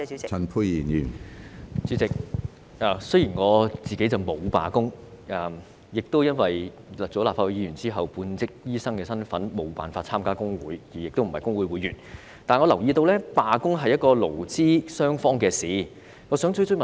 主席，雖然我沒有參與罷工，亦因為擔任立法會議員後，身份只屬半職醫生而無法加入工會，所以並非工會會員，但我留意到，罷工是勞資雙方的事情。